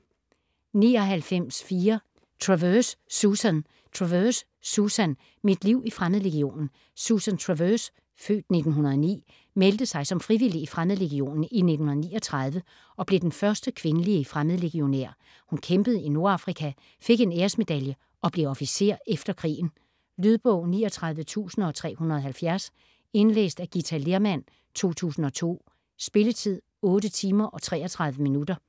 99.4 Travers, Susan Travers, Susan: Mit liv i Fremmedlegionen Susan Travers (f. 1909) meldte sig som frivillig i Fremmedlegionen i 1939 og blev den første kvindelige fremmedlegionær. Hun kæmpede i Nordafrika, fik en æresmedalje og blev officer efter krigen. Lydbog 39370 Indlæst af Githa Lehrmann, 2002. Spilletid: 8 timer, 33 minutter.